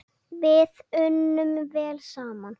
Við unnum vel saman.